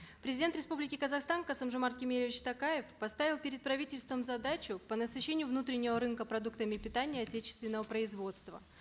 президент республики казахстан касым жомарт кемелевич токаев поставил перед правительством задачу по насыщению внутреннего рынка продуктами питания отечественного производства